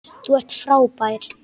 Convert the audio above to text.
Þú ert frábær!